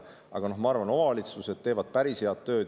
Aga ma arvan, et omavalitsused teevad päris head tööd.